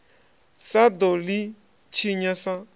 sa ḓo ḽi tshinya sa